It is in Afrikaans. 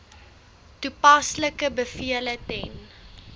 toepaslike bevele ten